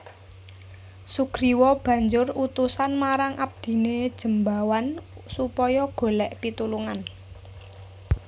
Sugriwa banjur utusan marang abdiné Jembawan supaya golèk pitulungan